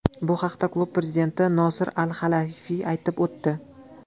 Bu haqda klub prezidenti Nosir Al-Halayfiy aytib o‘tdi.